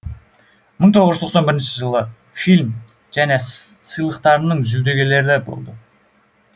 мың тоғыз жүз тоқсан бірінші жылы фильм және сыйлықтарының жүлдегерлері болды